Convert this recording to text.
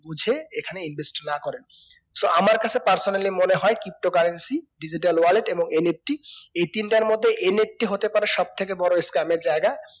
বুজে এখানে invest না করেন so আমার কাছে personally মনে হয় pto currency, digital wallet এবং NFT এই তিনটার মধ্যে NFT হতেপারে সব থেকে বড়ো seam এর জায়গা